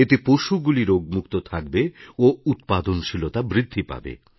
এতে পশুগুলি রোগমুক্ত থাকবে ও উৎপাদনশীলতা বৃদ্ধি পাবে